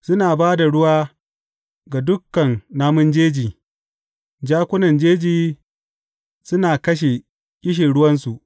Suna ba da ruwa ga dukan namun jeji; jakunan jeji suna kashe ƙishirwansu.